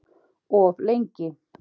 Of lengi